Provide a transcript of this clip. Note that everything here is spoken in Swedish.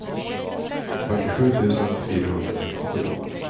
fyrtiosju tusen fyrahundrasextiosju